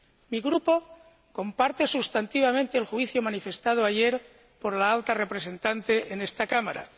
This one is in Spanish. Mi Grupo comparte sustantivamente el juicio manifestado ayer por la Alta Representante en esta Cámara.